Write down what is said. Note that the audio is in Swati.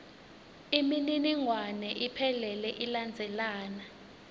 imininingwane iphelele ilandzelana